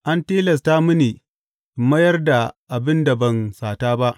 An tilasta mini in mayar da abin da ban sata ba.